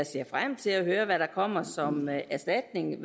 ser frem til at høre hvad der kommer som erstatning